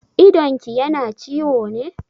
Idonki yana ciwo ne?